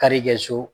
Karikɛ so